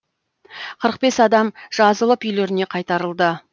қырық бес адам жазылып үйлеріне қайтарылды